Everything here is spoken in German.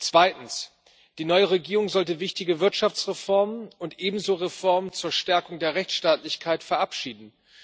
Zweitens Die neue Regierung sollte wichtige Wirtschaftsreformen und ebenso Reformen zur Stärkung der Rechtsstaatlichkeit verabschieden.